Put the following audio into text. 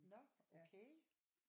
Nå okay